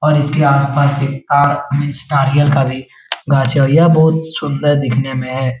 और इसके आस पास एक का भी बहुत सुन्दर दिखने में है।